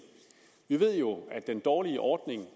vi ved jo at gennem den dårlige ordning